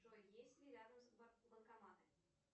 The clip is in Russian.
джой есть ли рядом банкоматы